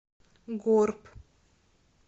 горб